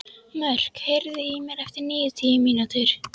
Mörk, heyrðu í mér eftir níutíu mínútur.